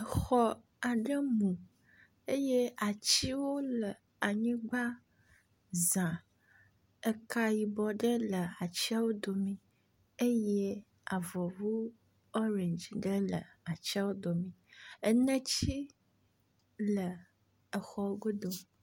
Exɔ aɖe mu eye atiwo le anyigba za, eka yibɔ aɖewo le wo domee eye avɔvu ɔrɛndzi ɖe le atiawo dome, eneti le exɔ godo.